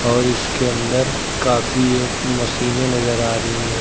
और इसके अंदर काफी एक मशीने नजर आ रही हैं।